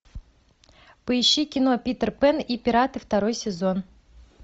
поищи кино питер пэн и пираты второй сезон